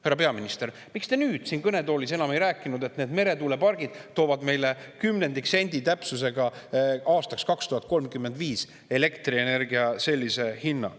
Härra peaminister, miks te nüüd siin kõnetoolis ei rääkinud enam kümnendiksendi täpsusega, millise elektrienergia hinna need meretuulepargid meile aastaks 2035 toovad?